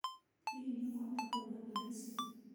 Hihi nĩ ũkũhota kũrĩha indo icio?